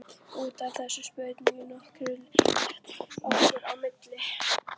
Út af þessu spunnust nokkur leiðindi okkar á milli.